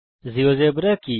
GeoGebra কি